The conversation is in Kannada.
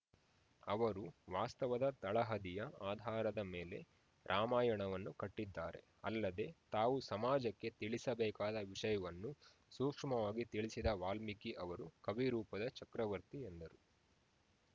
ಅವರು ವಾಸ್ತವದ ತಳಹದಿಯ ಆಧಾರದ ಮೇಲೆ ರಾಮಾಯಣವನ್ನು ಕಟ್ಟಿದ್ದಾರೆ ಅಲ್ಲದೆ ತಾವು ಸಮಾಜಕ್ಕೆ ತಿಳಿಸಬೇಕಾದ ವಿಷಯವನ್ನು ಸೂಕ್ಷ್ಮವಾಗಿ ತಿಳಿಸಿದ ವಾಲ್ಮಿಕಿ ಅವರು ಕವಿ ರೂಪದ ಚಕ್ರವರ್ತಿ ಎಂದರು